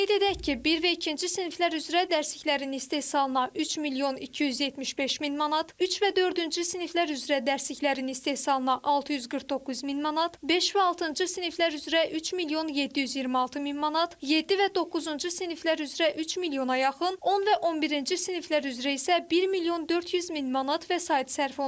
Qeyd edək ki, bir və ikinci siniflər üzrə dərsliklərin istehsalına 3 milyon 275 min manat, 3 və dördüncü siniflər üzrə dərsliklərin istehsalına 649 min manat, 5 və altıncı siniflər üzrə 3 milyon 726 min manat, 7 və doqquzuncu siniflər üzrə 3 milyona yaxın, 10 və 11-ci siniflər üzrə isə 1 milyon 400 min manat vəsait sərf olunacaq.